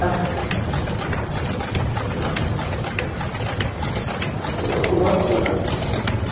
ха-ха вот так что вот у вас что как там